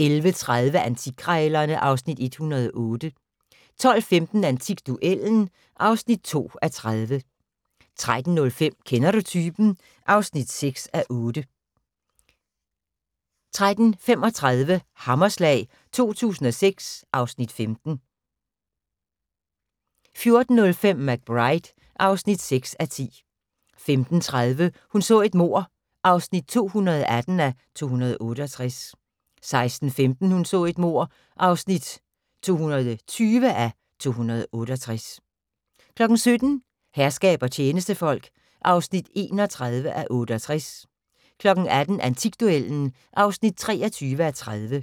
11:30: Antikkrejlerne (Afs. 108) 12:15: Antikduellen (2:30) 13:05: Kender du typen? (6:8) 13:35: Hammerslag 2006 (Afs. 15) 14:05: McBride (6:10) 15:30: Hun så et mord (218:268) 16:15: Hun så et mord (220:268) 17:00: Herskab og tjenestefolk (31:68) 18:00: Antikduellen (23:30)